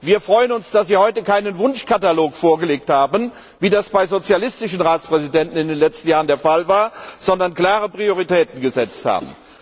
Wir freuen uns, dass Sie heute keinen Wunschkatalog vorgelegt haben, wie das bei sozialistischen Ratspräsidenten in den letzten Jahren der Fall war, sondern klare Prioritäten gesetzt haben.